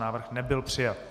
Návrh nebyl přijat.